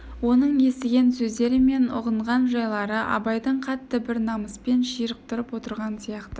оның естіген сөздері мен ұғынған жайлары абайды қатты бір намыспен ширықтырып отырған сияқты